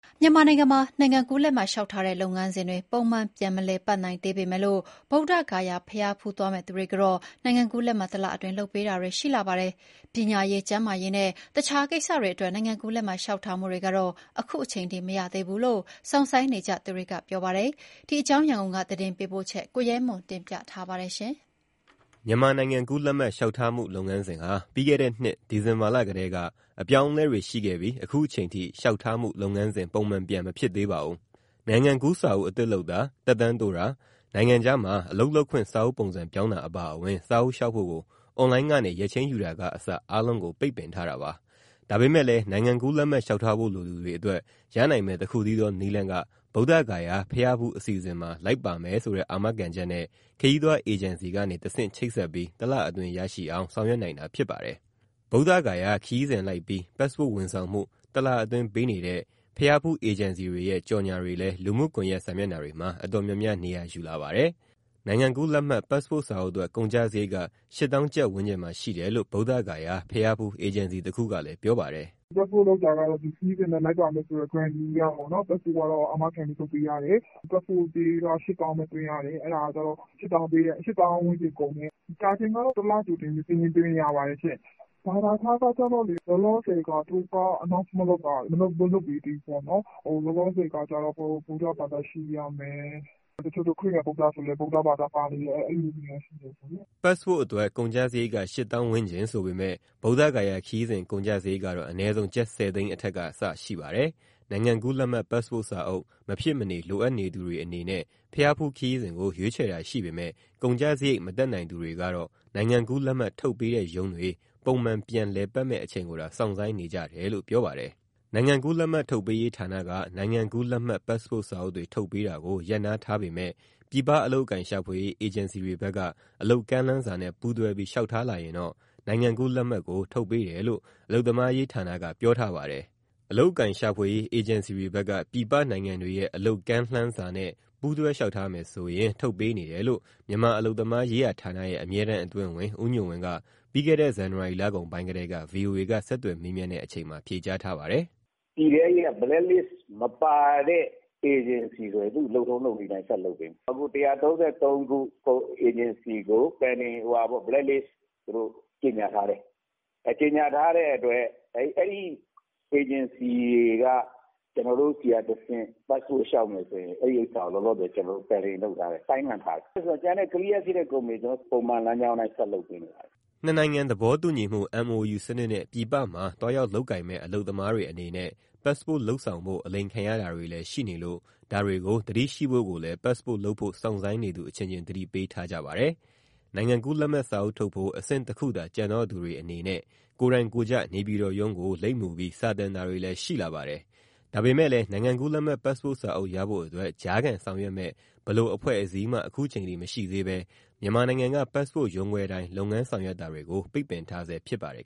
မြန်မာနိုင်ငံမှာ နိုင်ငံကူးလက်မှတ်လျှောက်ထားတဲ့ လုပ်ငန်းစဉ်တွေပုံမှန်ပြန် မလည်ပတ်နိုင်သေးပေမဲ့ ဗုဒ္ဓဂယာဘုရားဖူးသွားမယ့်သူတွေကိုတော့ တလအတွင်း နိုင်ငံကူးလက်မှတ်လုပ်ပေးတာတွေ ရှိလာပါတယ်။ ပညာရေး၊ ကျန်းမာရေးနဲ့ တခြားကိစ္စတွေအတွက် နိုင်ငံကူးလက်မှတ်လျှောက်ထားမှုတွေကတော့ အခုချိန်ထိမရသေးဘူးလို့ စောင့်ဆိုင်းနေကြသူတွေက ပြောပါတယ်။ ဒီအကြောင်း ရန်ကုန်က သတင်းပေးပို့ချက်ကို ကိုရဲမွန်က တင်ပြပေးထားပါတယ်။ မြန်မာနိုင်ငံကူးလက်မှတ် လျှောက်ထားမှုလုပ်ငန်းစဉ်ဟာ ပြီးခဲ့တဲ့နှစ် ဒီဇင်ဘာလကတည်းက အပြောင်းအလဲတွေရှိခဲ့ပြီး အခုချိန်ထိ လျှောက်ထားမှု လုပ်ငန်းစဉ် ပုံမှန်ပြန်မဖြစ်သေးပါဘူး။ နိုင်ငံကူးစာအုပ်အသစ်လုပ်တာ၊ သက်တမ်းတိုးတာ၊ နိုင်ငံခြားမှာ အလုပ်လုပ်ခွင့်စာအုပ်ပုံစံပြောင်းတာ အပါအဝင် စာအုပ်လျှောက်ဖို့ အွန်လိုင်းကနေရက်ချိန်းယူတာကအစ အားလုံးကို ပိတ်ပင်ထားတာပါ။ ဒါပေမဲ့လည်း နိုင်ငံကူးလက်မှတ်လျှောက်ထားလိုသူတွေအတွက် ရနိုင်မယ့်တခုတည်းသောနည်းလမ်းက ဗုဒ္ဓဂယာဘုရားဖူးခရီးစဉ်မှာလိုက်ပါမယ်ဆိုတဲ့ အာမခံချက်နဲ့ ခရီးသွားအေဂျင်စီကနေတဆင့် ချိတ်ဆက်ပြီး တလအတွင်းရရှိအောင် ဆောင်ရွက်နိုင်တာဖြစ်ပါတယ်။ ဗုဒ္ဓဂယာခရီးစဉ်လိုက်ပြီး ပတ်စ်ပို့ဝန်ဆောင်မှု တလအတွင်းပေးနေတဲ့ ဘုရားဖူးအေဂျင်စီတွေရဲ့ ကြေညာချက်တွေလည်း လူမှုကွန်ယက်စာမျက်နှာတွေမှာ အတော်များများ နေရာယူလာပါတယ်။ နိုင်ငံကူးလက်မှတ်ပတ်စ်ပို့စာအုပ်အတွက် ကုန်ကျစရိတ်က ၈ သောင်းကျပ် ဝန်းကျင်မှာရှိတယ်လို့ ဗုဒ္ဓဂယာဘုရားဖူး အေဂျင်စီတခုကလည်း ပြောပါတယ်။ "Passport လုပ်တာကတော့ ဒီခရီးစဉ်နဲ့ လိုက်ပါမယ်ဆိုတဲ့ Grantee အရ Passport ကတော့ အာမခံနဲ့လုပ်ပေးပါတယ်။ Passport ကြေးက ၈ သောင်းပဲ သွင်းရတယ်။ အဲဒါကကျတော့ ၈ သောင်းဝန်းကျင်ကုန်တယ်။ ကြာချိန်ကတော့ တလကြိုပြီး စာရင်းသွင်းရင်ရပါတယ်။ ဘာသာခြားကတော့ လောလောဆယ် သူတို့က မကြေညာသေးဘူးပေါ့နော်။ လောလောဆယ်ကတော့ ဗုဒ္ဓဘာသာဖြစ်ရမယ်။ တချို့ဆိုလည်း ခရစ်ယာန် - ဗုဒ္ဓဆို ဗုဒ္ဓဘာသာပါနေတယ်၊ အဲလိုတော့ ရတယ်ပေါ့နော်။" ပတ်စ်ပို့အတွက်ကုန်ကျစရိတ်က ၈ သောင်းဝန်းကျင်ဆိုပေမယ့် ဗုဒ္ဓဂယာခရီးစဉ် ကုန်ကျစရိတ်ကတော့ အနည်းဆုံး ကျပ် ၁၀ သိန်းအထက်က စရှိပါတယ်။ နိုင်ငံကူးလက်မှတ် ပတ်စ်ပို့စာအုပ် မဖြစ်မနေလိုအပ်နေသူတွေအနေနဲ့ ဘုရားဖူးခရီးစဉ်ကို ရွေးချယ်တာရှိပေမယ့် ကုန်ကျစရိတ်မတတ်နိုင်သူတွေကတော့ နိုင်ငံကူးလက်မှတ် ထုတ်ပေးတဲ့ရုံးတွေ ပုံမှန်ပြန်လည်ပတ်မယ့်အချိန်ကိုသာ စောင့်ဆိုင်းနေကြတယ်လို့ ပြောပါတယ်။ နိုင်ငံကူးလက်မှတ် ထုတ်ပေးရေးဌာနက နိုင်ငံကူးလက်မှတ်ပတ်စ်ပို့စာအုပ်တွေ ထုတ်ပေးတာကို ရပ်နားထားပေမဲ့ ပြည်ပအလုပ်အကိုင်ရှာဖွေရေး အေဂျင်စီတွေဘက်က အလုပ်ကမ်းလှမ်းစာနဲ့ပူးတွဲပြီး လျှောက်ထားလာရင်တော့ နိုင်ငံကူးလက်မှတ်ထုတ်ပေးမယ်လို့ အလုပ်သမားရေးဌာနက ပြောထားပါတယ်။ အလုပ်အကိုင်ရှာဖွေရေး အေဂျင်စီတွေဘက်က ပြည်ပနိုင်ငံတွေရဲ့အလုပ်ကမ်းလှမ်းစာနဲ့ ပူးတွဲလျှောက်ထားမယ်ဆို ထုတ်ပေးနေတယ်လို့ မြန်မာအလုပ်သမားရေးဌာနရဲ့ အမြဲတမ်းအတွင်းဝန်ဦးညွန့်ဝင်းက ပြီးခဲ့တဲ့ ဇန်နဝါရီလကုန်ပိုင်းကတည်းက VOA က ဆက်သွယ်မေးမြန်းတဲ့အချိန်မှာ ဖြေကြားထားပါတယ်။ "ပြည်ထဲရေးက blacklist မပါတဲ့ အေဂျင်စီတွေဆိုရင် သူ့လုပ်ထုံးလုပ်နည်းအတိုင်း ဆက်လုပ်ပေးမယ်။ အခု ၁၃၃ ခု အေဂျင်စီကို blacklist သူတို့ ကြေညာထားတယ်။ အဲဒီ အေဂျင်စီတွေက ကျနော်တို့ဆီကတဆင့် ပတ်စ်ပို့ လျှောက်မယ်ဆိုရင် အဲဒါကို လောလောဆယ် pending လုပ်ထားတယ်၊ ဆိုင်းငံ့ထားတယ်။ ကျန်တဲ့ clear ဖြစ်တဲ့ကုမ္ပဏီတွေ ကျနော်တို့ ပုံမှန်လမ်းကြောင်းအတိုင်း ဆက်လုပ်ပေးနေတယ်။" နှစ်နိုင်ငံသဘောတူညီမှု MOU စနစ်နဲ့ ပြည်ပမှာသွားရောက်လုပ်ကိုင်မယ့် အလုပ်သမားတွေအနေနဲ့ ပတ်စ်ပို့လုပ်ဆောင်ဖို့ အလိမ်ခံရတာတွေလည်းရှိနေလို့ ဒါတွေကို သတိရှိဖို့ကိုလည်း ပတ်စ်ပို့လုပ်ဖို့ စောင့်ဆိုင်းနေသူအချင်းချင်း သတိပေးထားကြပါတယ်။ နိုင်ငံကူးလက်မှတ်စာအုပ်ထုတ်ဖို့ အဆင့်တခုသာ ကျန်တော့သူတွေအနေနဲ့ ကိုယ်တိုင်ကိုယ်ကျ နေပြည်တော်ရုံးကိုလိပ်မူပြီး စာတင်တာတွေလည်း ရှိလာပါတယ်။ ဒါပေမဲ့လည်း နိုင်ငံကူးလက်မှတ် ပတ်စ်ပို့စာအုပ်ရဖို့အတွက် ကြားခံဆောင်ရွက်နိုင်မယ့် ဘယ်လိုအဖွဲ့အစည်းမှ အခုချိန်ထိမရှိသေးဘဲ မြန်မာနိုင်ငံက ပတ်စ်ပို့ရုံးခွဲတိုင်း လုပ်ငန်းဆောင်ရွက်တာတွေကို ပိတ်ပင်ထားဆဲဖြစ်ပါတယ်